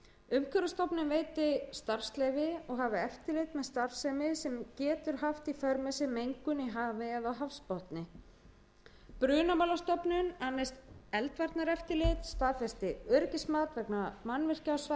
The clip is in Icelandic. umhverfisstofnun veiti starfsleyfi og hafi eftirlit með starfsemi sem getur haft í för með sér mengun í hafi eða á hafsbotni brunamálastofnun annist eldvarnaeftirlit staðfesti öryggismat vegna mannvirkja á svæðinu og endurskoði